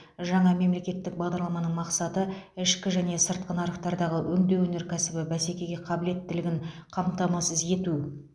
жаңа мемлекеттік бағдарламаның мақсаты ішкі және сыртқы нарықтардағы өңдеу өнеркәсібінің бәсекеге қабілеттілігін қамтамасыз ету